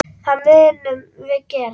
Það munum við gera.